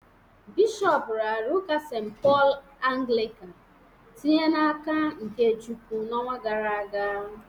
Bishọp raara ụka St. Paul Anglịka tinye n'aka nke Chukwu n'ọnwa gara aga